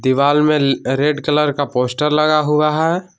दीवार में red colour का पोस्टर लगा हुआ है।